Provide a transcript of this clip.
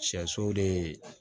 Sɛ so de